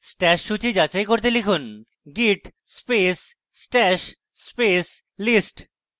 stash সূচী যাচাই করতে লিখুন: git space stash space list